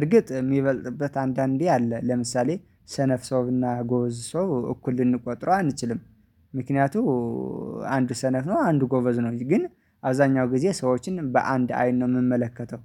እርግጥ የሚበልጥበት አንዳንዴ አለ ለምሳሌ ሰነፍ ሰውና ጎበዝ ሰው እኩል ልንቆጥረው አንችልም ምክንያቱም አንዱ ሰነፍ ነው አንድ ጎበዝ ነው ግን አብዛኛው ጊዜ ሰዎችን በአንድ አይን ነው የምመለከተው